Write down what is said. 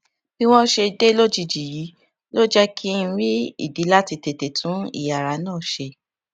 bí wón ṣe dé lójijì yìí ló jé kí n rí ìdí láti tètè tún ìyàrá náà ṣe